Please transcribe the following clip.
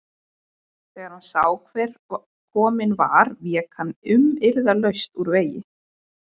Þegar hann sá hver kominn var vék hann umyrðalaust úr vegi.